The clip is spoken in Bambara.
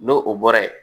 N'o o bɔra yen